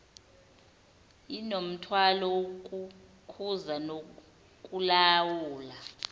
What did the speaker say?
inomthwalo wokukhuza nokulawula